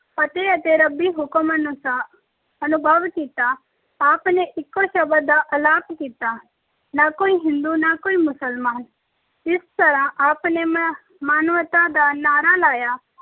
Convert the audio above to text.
ਫਤਹਿ ਅਤੇ ਰੱਬੀ ਹੁਕਮ ਅਨੁਸਾਰ ਅਨੁਭਵ ਕੀਤਾ। ਆਪ ਨੇ ਇੱਕੋ ਸ਼ਬਦ ਦਾ ਐਲਾਨ ਕੀਤਾ। ਨਾ ਕੋਈ ਹਿੰਦੂ, ਨਾ ਕੋਈ ਮੁਸਲਮਾਨ। ਇਸ ਤਰ੍ਹਾਂ ਆਪ ਨੇ ਮੈ ਮਾਨਵਤਾ ਦਾ ਨਾਅਰਾ ਲਾਇਆ